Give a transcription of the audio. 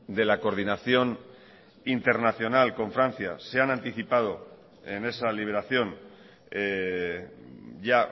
de la coordinación internacional con francia se han anticipado en esa liberación ya